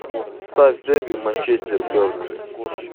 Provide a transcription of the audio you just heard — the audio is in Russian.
ставь дерби манчестер бернли